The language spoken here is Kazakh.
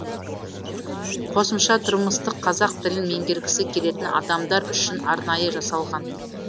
қосымша тұрмыстық қазақ тілін меңгергісі келетін адамдар үшін арнайы жасалған